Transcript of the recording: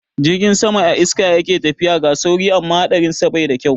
Jirgin sama a iska yake tafiya, ga sauri amma haɗarinsa bai da kyau.